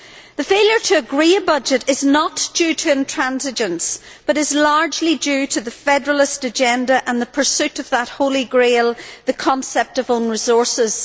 The failure to agree a budget is not due to intransigence, but is largely due to the federalist agenda and the pursuit of that Holy Grail, the concept of own resources.